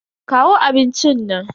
Kawo abincin nan.